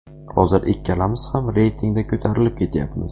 Hozir ikkalamiz ham reytingda ko‘tarilib ketyapmiz.